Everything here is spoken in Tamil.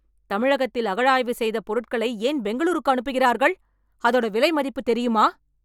தமிழகத்தில் அகழாய்வு செய்த பொருட்களை ஏன் பெங்களூருக்கு அனுப்புகிறார்கள்? அதோட விலை மதிப்பு தெரியுமா?